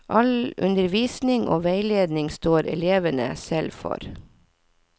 All undervisning og veiledning står elevene selv for.